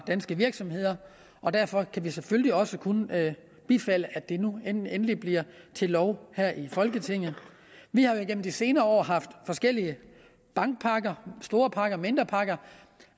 danske virksomheder og derfor kan vi selvfølgelig også kun bifalde at det nu endelig bliver til lov her i folketinget vi har jo igennem de senere år haft forskellige bankpakker store pakker mindre pakker